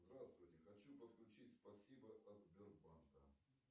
здравствуйте хочу подключить спасибо от сбербанка